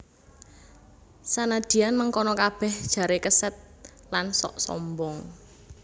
Sanadyan mengkono kabèh jaré kesèd lan sok sombong